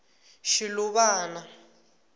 shiluvana